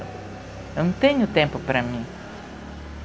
Eu não tenho tempo para mim.